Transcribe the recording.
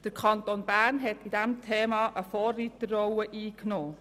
Der Kanton Bern hat in diesem Thema eine Vorreiterrolle eingenommen.